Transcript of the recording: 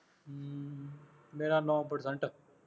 ਮੇਰਾ ਨੌਂ percent